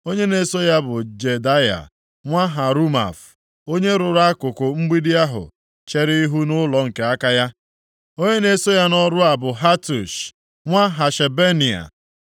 Onye na-eso ya bụ Jedaya nwa Harumaf, onye rụrụ akụkụ mgbidi ahụ chere ihu nʼụlọ nke aka ya. Onye na-eso ya nʼọrụ a bụ Hatush nwa Hashabneia.